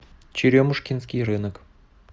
черемушкинский рынок